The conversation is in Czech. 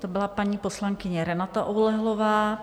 To byla paní poslankyně Renata Oulehlová.